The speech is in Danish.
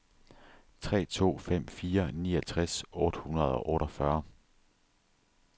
tre to fem fire niogtres otte hundrede og otteogfyrre